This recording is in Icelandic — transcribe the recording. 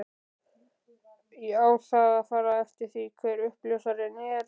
Á það að fara eftir því hver uppljóstrarinn er?